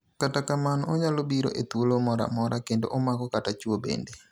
Kata kamano, onyalo biro e tuolo moro amora kendo omaka kata chuo bende.